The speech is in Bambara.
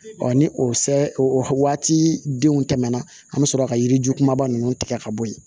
ni o sɛ o waati denw tɛmɛna an bɛ sɔrɔ ka yiri ju kumaba ninnu tigɛ ka bɔ yen